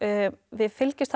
við fylgjumst